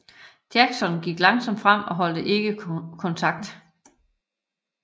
Jackson gik langsomt frem og holdt ikke kontakt